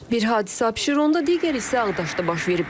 Bir hadisə Abşeronda, digəri isə Ağdaşda baş verib.